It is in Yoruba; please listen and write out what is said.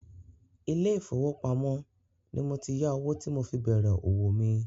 ilé ìfowópamọ́ ni mo ti yá owó tí mo fi bèrè òwò mi.